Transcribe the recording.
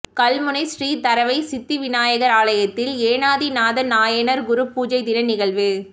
கல்முனை ஸ்ரீ தரவைச்சித்திநாயகர் ஆலயத்தில் ஏனாதிநாத நாயனார் குரு பூசைதின நிகழ்வு